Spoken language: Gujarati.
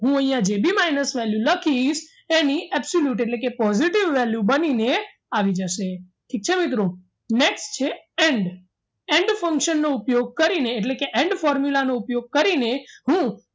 હું અહીંયા જે બી minus value લખીશ એની absolute એટલે કે positive value બનીને આવી જશે ઠીક છે મિત્રો next છે and and function નો ઉપયોગ કરીને એટલે કે and formula નો ઉપયોગ કરીને હું